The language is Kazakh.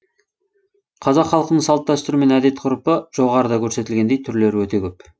қазақ халқының салт дәстүрі мен әдет ғұрыпы жоғарыда көрсетілгендей түрлері өте көп